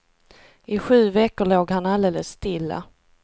I sju veckor låg han alldeles stilla.